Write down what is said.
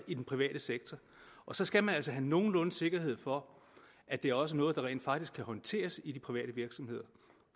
i den private sektor så skal man altså have nogenlunde sikkerhed for at det også er noget der rent faktisk kan håndteres i de private virksomheder